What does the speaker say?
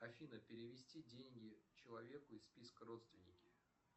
афина перевести деньги человеку из списка родственники